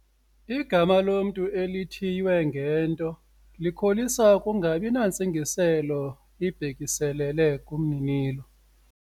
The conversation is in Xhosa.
Igama lomntu elithiywe ngento likholisa ukungabi nantsingiselo ibhekiselele kumninilo.